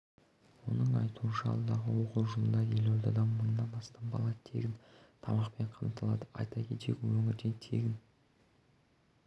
оның айтуынша алдағы оқу жылында елордада мыңнан астам бала тегін тамақпен қамтылады айта кетейік өңірде егін